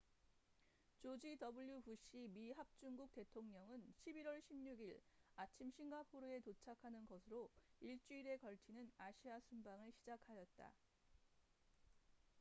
조지 w 부시 미합중국 대통령은 11월 16일 아침 싱가포르에 도착하는 것으로 일주일에 걸치는 아시아 순방을 시작하였다